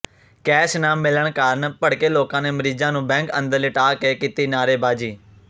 cash ਨਾ ਮਿਲਣ ਕਾਰਨ ਭੜਕੇ ਲੋਕਾਂ ਨੇ ਮਰੀਜ਼ਾਂ ਨੂੰ ਬੈਂਕ ਅੰਦਰ ਲਿਟਾ ਕੇ ਕੀਤੀ ਨਾਅਰੇਬਾਜ਼ੀ